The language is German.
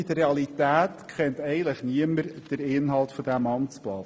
In der Realität kennt eigentlich niemand den Inhalt dieses Amtsblattes.